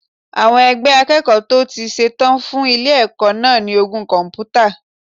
Àwọn ẹgbẹ́ akẹ́kọ̀ọ́ tó ti ṣe tán fún ilé ẹ̀kọ́ náà ní ogún kọ̀m̀pútà.